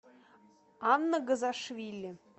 анна газашвили